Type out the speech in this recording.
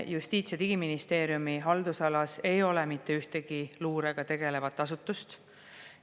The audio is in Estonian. Justiits- ja Digiministeeriumi haldusalas ei ole mitte ühtegi luurega tegelevat asutust.